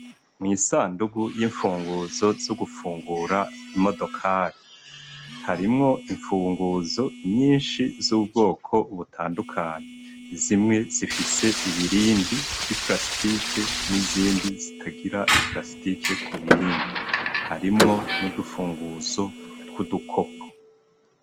mw' isandugu y'imfunguruzo zo gufungura imodokari harimwo imfunguzo nyinshi z'ubwoko butandukanyi zimwe zifise ibirindi vy'iprasitike n'izindi zitagira iprasitike ku birindi harimwo n'udufunguzo tw'udukopo